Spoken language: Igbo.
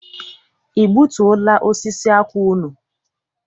I gbutuo la osisi akwụ unu?